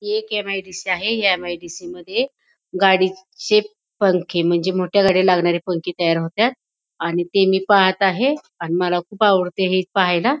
ही एक एम.आय.डी.सी. आहे या एम.आय.डी.सी. मध्ये गाडीचे पंखे म्हणजे मोठ्या गाडीला लागणारे पंखे तयार होत्यात आणि ते मी पाहत आहे आणि मला खूप आवडते हे पाहायला.